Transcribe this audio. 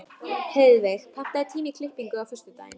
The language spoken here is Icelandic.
Heiðveig, pantaðu tíma í klippingu á föstudaginn.